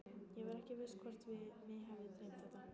Ég var ekki viss hvort mig hefði dreymt þetta.